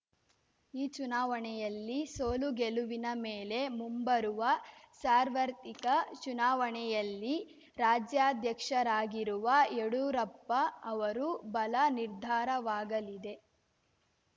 ಈ ಚುನಾವಣೆಯಲ್ಲಿ ಸೋಲು ಗೆಲುವಿನ ಮೇಲೆ ಮುಂಬರುವ ಸಾರ್ವರ್ತಿಕ ಚುನಾವಣೆಯಲ್ಲಿ ರಾಜ್ಯಾಧ್ಯಕ್ಷರಾಗಿರುವ ಯಡೂರಪ್ಪ ಅವರ ಬಲ ನಿರ್ಧಾರವಾಗಲಿದೆ